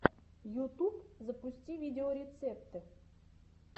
ютуб запусти видеорецепты